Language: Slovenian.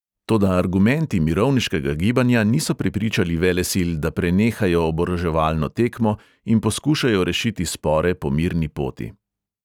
Toda argumenti mirovniškega gibanja niso prepričali velesil, da prenehajo oboroževalno tekmo in poskušajo rešiti spore po mirni poti.